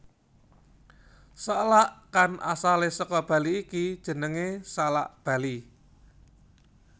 Salak kang asalé saka Bali iki jenengé salak Bali